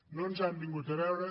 no ens han vingut a veure